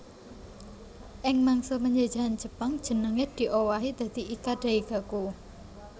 Ing mangsa penjajahan Jepang jenengé diowahi dadi Ika Daigaku